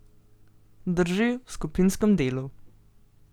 Drži, v skupinskem delu.